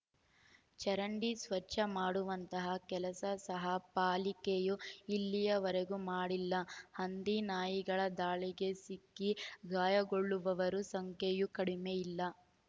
ಚರಂಡಿ ಸ್ವಚ್ಛ ಮಾಡುವಂತಹ ಕೆಲಸ ಸಹ ಪಾಲಿಕೆಯು ಇಲ್ಲಿವರೆಗೂ ಮಾಡಿಲ್ಲ ಹಂದಿ ನಾಯಿಗಳ ದಾಳಿಗೆ ಸಿಕ್ಕಿ ಗಾಯಗೊಳ್ಳುವವರ ಸಂಖ್ಯೆಯೂ ಕಡಿಮೆ ಇಲ್ಲ